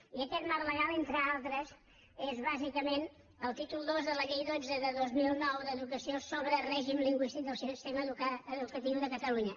i aquest marc legal entre altres és bàsicament el títol ii de la llei dotze de dos mil nou d’educació sobre règim lingüístic del sistema educatiu de catalunya